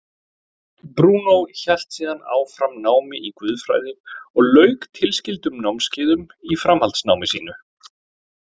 Brúnó hélt síðan áfram námi í guðfræði og lauk tilskildum námskeiðum í framhaldsnámi sínu.